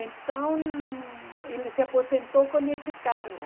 Então, ele se aposentou com esse cargo.